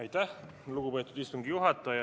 Aitäh, lugupeetud istungi juhataja!